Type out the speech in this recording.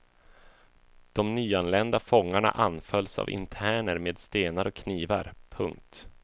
De nyanlända fångarna anfölls av interner med stenar och knivar. punkt